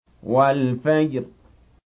وَالْفَجْرِ